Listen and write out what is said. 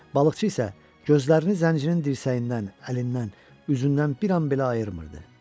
Balıqçı isə gözlərini zəncirin dirsəyindən, əlindən, üzündən bir an belə ayırmırdı.